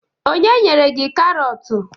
Onye nyere gi Karọt